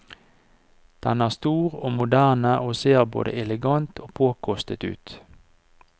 Den er stor og moderne og ser både elegant og påkostet ut.